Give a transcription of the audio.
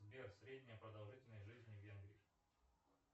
сбер средняя продолжительность жизни в венгрии